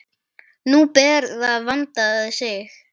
Nú ber að vanda sig!